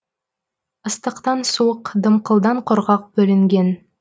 ыстықтан суық дымқылдан құрғақ бөлінген